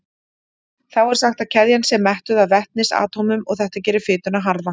Þá er sagt að keðjan sé mettuð af vetnisatómum og þetta gerir fituna harða.